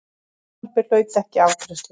Frumvarpið hlaut ekki afgreiðslu.